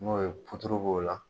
N'o ye puturu b'o la.